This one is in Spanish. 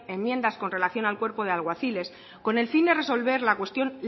enmiendas con relación al cuerpo de alguaciles con el fin de resolver la cuestión